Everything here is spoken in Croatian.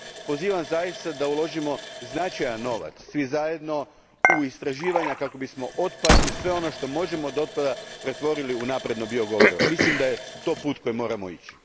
Pozivam zaista da uložimo značajan novac svi zajedno u istraživanja kako bismo otpad i sve ono što možemo od otpada pretvorili u napredno bio gorivo. Mislim da je to put kojim moramo ići.